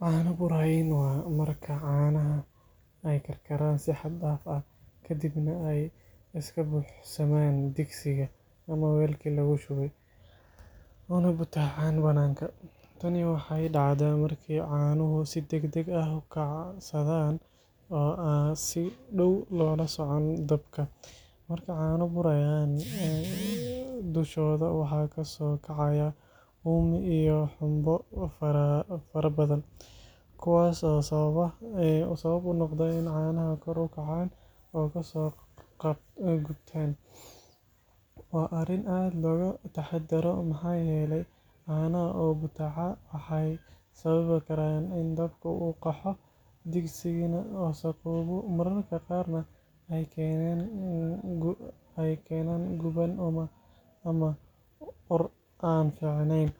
Caano burayiin waa marka caanaha ay karkaraan si xad dhaaf ah, kadibna ay ka buuxsamaan digsigii ama weelkii lagu shubay, una butaacaan bannaanka. Tani waxay dhacdaa marka caanuhu si degdeg ah u kacsadaan oo aan si dhow loola socon dabka. Marka caano burayaan, dushooda waxaa kasoo kacaya uumi iyo xumbo farabadan, kuwaas oo sabab u noqda in caanaha kor u kacaan oo ka soo qubtaan. Waa arrin aad looga taxaddaro, maxaa yeelay caanaha oo butaaca waxay sababi karaan in dabka uu qaxo, digsigana wasakhoobo, mararka qaarna ay keenaan guban ama ur aan fiicnayn.